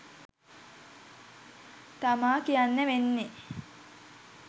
තමා කියන්න වෙන්නෙ